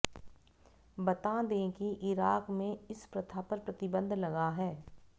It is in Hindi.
बता दें कि इराक में इस प्रथा पर प्रतिबंध लगा है